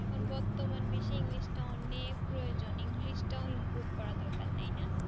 যেকোন বর্তমান বেশি english টা অনেক প্রজোযন english টা improve করা দরকার তাই না